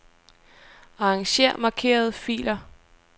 Arranger markerede filer.